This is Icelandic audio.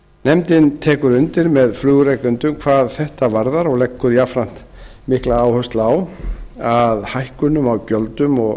nefndin tekur undir með flugrekendum hvað þetta varðar og leggur jafnframt mikla áherslu á að hækkunum á gjöldum og